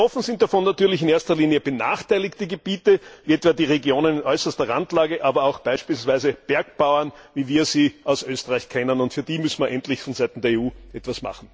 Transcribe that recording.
Betroffen sind davon natürlich in erster Linie benachteiligte Gebiete, wie etwa die Regionen in äußerster Randlage, aber auch beispielsweise Bergbauern, wie wir sie aus Österreich kennen, und für die müssen wir endlich von Seiten der EU etwas machen.